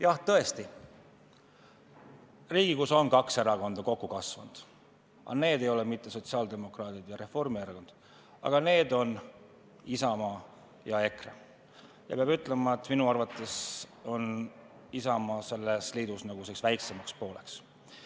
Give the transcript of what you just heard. Jah, tõesti, Riigikogus on kaks erakonda kokku kasvanud, aga need ei ole mitte sotsiaaldemokraadid ja Reformierakond, vaid need on Isamaa ja EKRE, kusjuures peab ütlema, et minu arvates on Isamaa selles liidus nagu väiksemaks pooleks.